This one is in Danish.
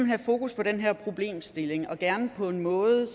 have fokus på den her problemstilling og gerne på en måde